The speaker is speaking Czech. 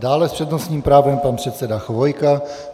Dále s přednostním právem pan předseda Chvojka.